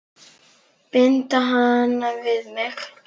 Binda hana við mig.